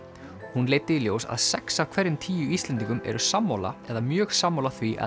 hún leiddi í ljós að sex af hverjum tíu Íslendingum eru sammála eða mjög sammála því að